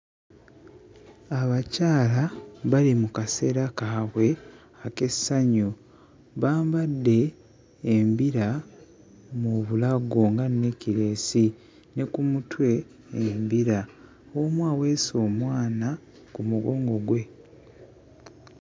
Abakyala bali mu kaseera kaabwe ak'essanyu. Bambadde embira mu bulago nga neekireesi ne ku mutwe embira. Omu aweese omwana ku mugongo gwe.